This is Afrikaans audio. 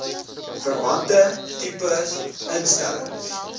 verwante tipe instellings